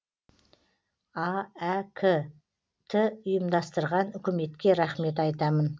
аәк ті ұйымдастырған үкіметке рахмет айтамын